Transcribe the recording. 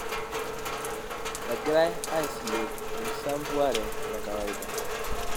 Egirai aisilg enkisampuare e kawaida.